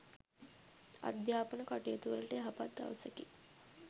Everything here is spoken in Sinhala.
අධ්‍යාපන කටයුතුවලට යහපත් දවසකි.